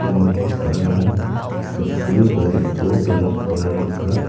nokni sa·rarangko sulsul gariko donakoba nika.